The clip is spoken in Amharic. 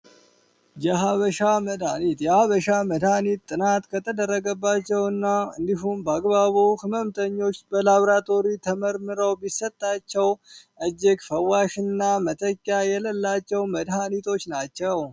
የሀበሻ መድሀኒት ያበሻ መድሃኒት ጥናት ከተደረገባቸው እና እንዲሁም በአግባቡ ህመምተኞች ላብራቶሪ ተመርምረው ቢሰጣቸውና መጠጊያ የሌላቸው መድኃኒቶች ናቸው